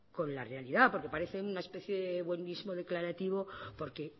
con la realidad porque parece una especie de buenismo declarativo porque